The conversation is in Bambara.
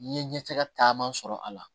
N ye ɲɛfɛ caman sɔrɔ a la